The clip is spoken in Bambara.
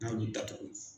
N'a y'u datugu